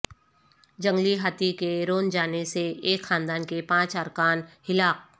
جنگلی ہاتھی کے روند جانے سے ایک خاندان کے پانچ ارکان ہلاک